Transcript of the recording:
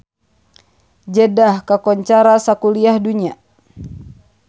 Jeddah kakoncara sakuliah dunya